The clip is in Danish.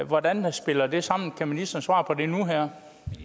hvordan spiller det sammen kan ministeren svare på det nu her